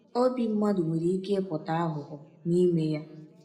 Obi mmadụ nwere ike ịpụta aghụghọ n’ime ya.